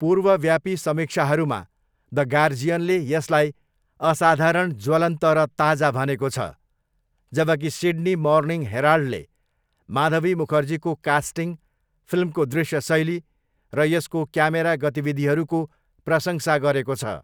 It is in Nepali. पूर्वव्यापी समीक्षाहरूमा, द गार्जियनले यसलाई 'असाधारण ज्वलन्त र ताजा' भनेको छ, जबकि सिड्नी मर्निङ हेराल्डले माधबी मुखर्जीको कास्टिङ, फिल्मको दृश्य शैली र यसको क्यामेरा गतिविधिहरूको प्रशंसा गरेको छ।